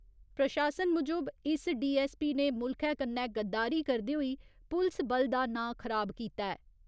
प्रशासन मुजब, इस डीऐस्सपी ने मुल्खै कन्नै गद्दारी करदे होई पुलस बल दा नांऽ खराब कीता ऐ।